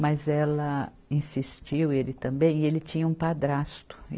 Mas ela insistiu, ele também, e ele tinha um padrasto.